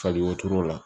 Fali wotoro la